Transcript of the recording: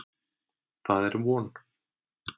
Það er von.